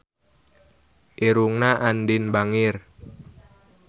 Irungna Andien bangir